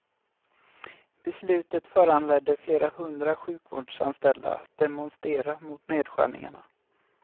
Beslutet föranledde flera hundra sjukvårdsanställda att demonstera mot nedskärningarna.